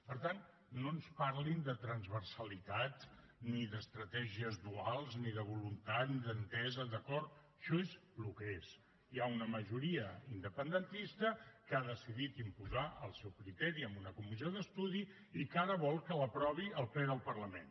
per tant no ens parlin de transversalitat ni d’estratègies duals ni de voluntat ni d’entesa d’acord això és el que és hi ha una majoria independentista que ha decidit imposar el seu criteri amb una comissió d’estudi i que ara vol que l’aprovi el ple del parlament